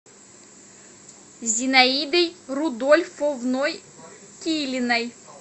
зинаидой рудольфовной килиной